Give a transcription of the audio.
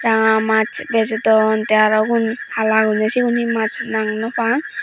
ranga maas bejodon tey aro ugun hala gorinay sigun he maas nang naw pang.